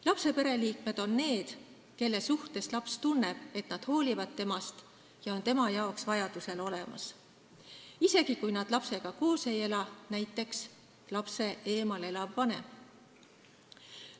Lapse pereliikmed on need, kelle puhul laps tunneb, et nad hoolivad temast ja on tema jaoks vajadusel olemas, isegi kui nad lapsega koos ei ela, näiteks lapsest eemal elav vanem.